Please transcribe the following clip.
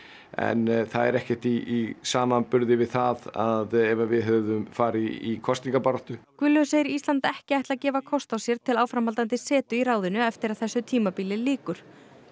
en það er ekkert í samanburði við það ef við hefðum farið í kosningabaráttu hann segir Ísland ekki ætla að gefa kost á sér til áframhaldandi setu í ráðinu eftir að þessu tímabili lýkur